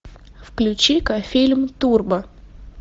включи ка фильм турбо